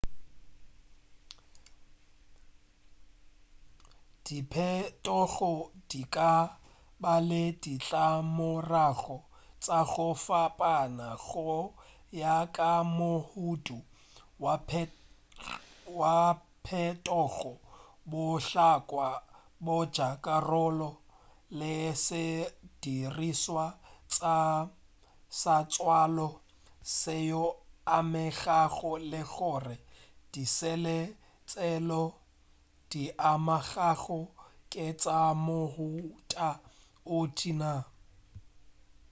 diphetogo di ka ba le ditlamorago tša go fapana go ya ka mohuta wa phetogo bohlokwa bja karolo le sedirišwa sa tswalo seo e amegago le gore disele tšeo di amegago ke tša mohuta o tee naa